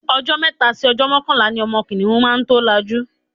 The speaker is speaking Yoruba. Ọjọ́ mẹ́ta sí ọjọ́ mọ́kànlá ni ọmọ kìnìhún máa tó lajú.